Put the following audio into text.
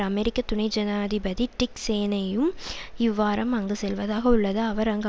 அமெரிக்க துணை ஜனாதிபதி டிக் சேனேயும் இவ்வாரம் அங்கு செல்வதாக உள்ளது அவர் அங்கு